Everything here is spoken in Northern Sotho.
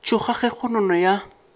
tšhoga ka ge kgonono ya